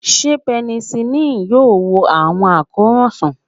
Ṣe penicillin yoo wo awọn akoran sàn?